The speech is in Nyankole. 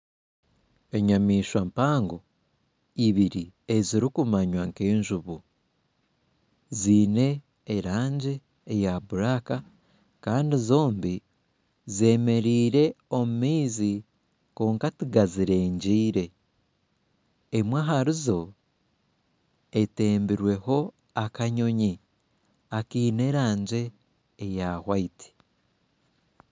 Enyamaishwa mpango ibiri ezirikumanywa nk'enjubu ziine erangi eya buraaka Kandi zombi zemereire omu maizi kwonka tigazirengire emwe ahari etebirweho akanyonyi akaine erangi erikwera